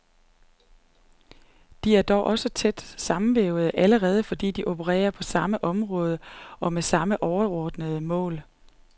De er dog også tæt sammenvævede, allerede fordi de opererer på samme område og med samme overordnede formål.